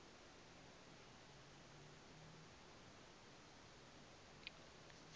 manzhie